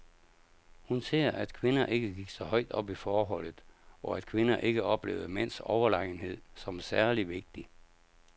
Hun ser, at kvinder ikke gik så højt op i forholdet, og at kvinder ikke oplevede mænds overlegenhed som særlig vigtig.